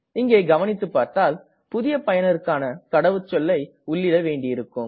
இங்கே கவனித்து பார்த்தால் புதிய பயனருக்கான கடவுச்சொல்லை உள்ளீட வேண்டியிருக்கும்